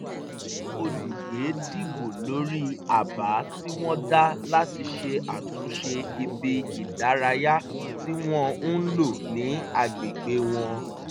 àwọn olùgbé dìbò lórí àbá tí wọ́n dá láti ṣe àtúnṣe ibi ìdárayá tí wọ́n ń lò ní agbègbè wọn